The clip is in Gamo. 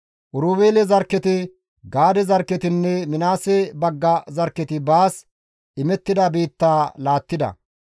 Oroobeele zarkketi Gaade zarkketinne Minaases bagga zarkketi baas imettida biittaa laattida.